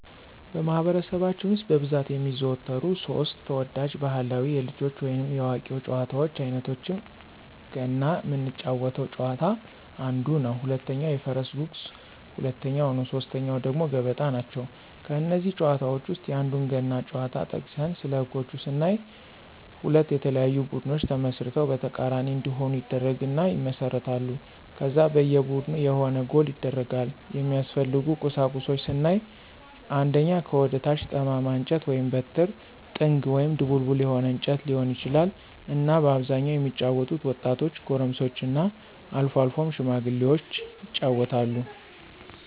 በማኅበረሰባችን ውስጥ በብዛት የሚዘወተሩ ሦስት (3) ተወዳጅ ባሕላዊ የልጆች ወይንም የአዋቂዎች ጨዋታዎች አይነቶቻቸው ገና ምንጫወተው ጨዋታ አንዱ ነው፣ ሁለተኛው የፈረስ ጉግስ ሁለተኛው ነው ሶስተኛው ደግሞ ገበጣ ናቸው። ከእነዚህ ጨዋታዎች ውስጥ የአንዱን ገና ጨዋታ ጠቅሰን ስለህጎች ስናይ ሁለት የተለያዩ ቡድኖች ተመስርተው በተቃራኒ እንዲሆኑ ይደረግና ይመሰረታሉ ከዛ በየ ቡድኑ የሆነ ጎል ይደረጋል፣ የሚያስፈልጉ ቁሳቁሶች ስናይ አንደኛ ከወደ ታች ጠማማ እንጨት(በትር)፣ጥንግ(ድቡልቡል የሆነ እንጨት ሊሆን ይችላል)እና በአብዛኛው የሚጫወቱት ወጣቶች፣ ጎረምሶችና አልፎ አልፎም ሽማግሎች ይጫወታሉ።